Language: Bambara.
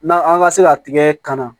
N'a an ka se ka tigɛ kana